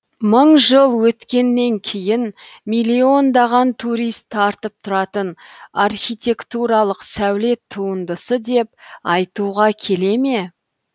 мың жыл өткеннен кейін миллиондаған турист тартып тұратын архитектуралық сәулет туындысы деп айтуға келе ме